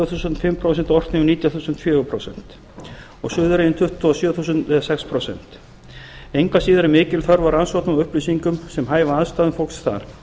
þúsund orkneyjum nítján þúsund og suðureyjum tuttugu og sjö þúsund engu að síður er mikil þörf á rannsóknum og upplýsingum sem hæfa aðstæðum fólks þar